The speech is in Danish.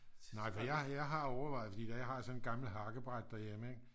nej for jeg har overvejet at for jeg har sådan et gammelt hakkebræt derhjemme ik